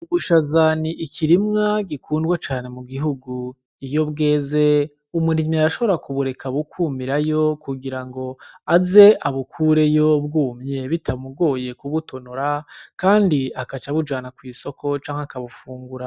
Ubushaza n'ikirimwa gikundwa cane mu gihugu iyo bweze umurimyi arashobora ku bureka bukumirayo ku girango aze abukureyo bwumye bitamugoye ku butonora kandi agaca abujana kw'isoko canke akabufungura.